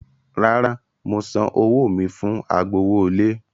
Rárá, mo san owó mi fún agbowówọlé.